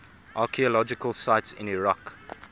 archaeological sites in iraq